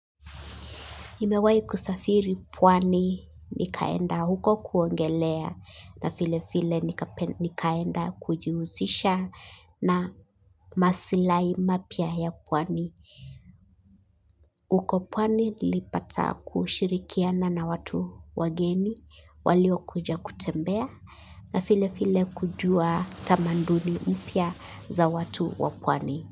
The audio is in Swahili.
Nimewai kusafiri pwani nikaenda huko kuongelea na vile vile nikaenda kujihusisha na maslahi mapya ya pwani. Huko pwani nlipata kushirikiana na watu wageni waliokuja kutembea na file file kujua tamanduni mpya za watu wa pwani.